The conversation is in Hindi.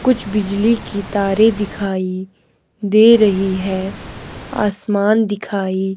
कुछ बिजली की तारे दिखाई दे रही है आसमान दिखाई--